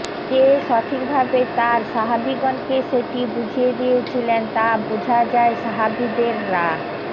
যে সঠিকভাবে তাঁর সাহাবীগণকে সেটি বুঝিয়ে দিয়েছিলেন তা বুঝা যায় সাহাবীদের রা